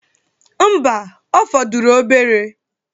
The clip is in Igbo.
Mba, ọ fọdụrụ obere.